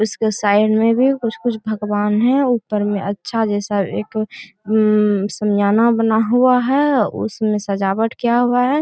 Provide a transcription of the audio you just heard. इसके साइड में भी कुछ-कुछ भगवान है ऊपर में अच्छा जैसा एक सामियाना बना हुआ है उसमें सजावट किया हुआ है।